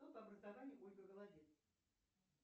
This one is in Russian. кто по образованию ольга голодец